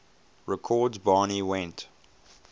records barney went